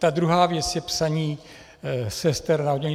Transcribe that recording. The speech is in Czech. Ta druhá věc je psaní sester na oddělení.